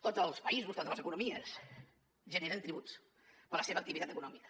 tots els països totes les economies generen tributs per la seva activitat econòmi·ca